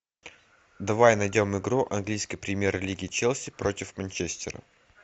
давай найдем игру английской премьер лиги челси против манчестера